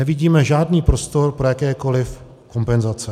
Nevidíme žádný prostor pro jakékoli kompenzace.